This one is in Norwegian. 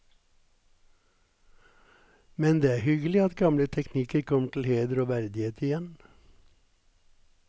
Men det er hyggelig at gamle teknikker kommer til heder og verdighet igjen.